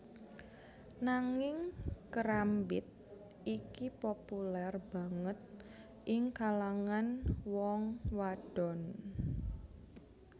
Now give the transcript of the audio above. Nanging kerambit iki populer banget ing kalangan wong wadon